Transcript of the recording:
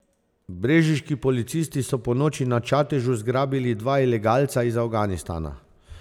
Brežiški policisti so ponoči na Čatežu zgrabili dva ilegalca iz Afganistana.